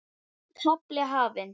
Nýr kafli hafinn.